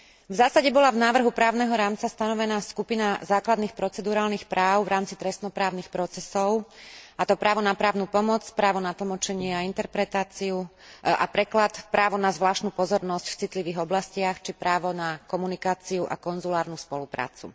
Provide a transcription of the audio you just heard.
V zásade bola v návrhu právneho rámca stanovená skupina základných procedurálnych práv v rámci trestno právnych procesov, a to právo na právnu pomoc, právo na tlmočenie, interpretáciu a preklad, právo na zvláštnu pozornosť v citlivých oblastiach či právo na komunikáciu a konzulárnu spoluprácu.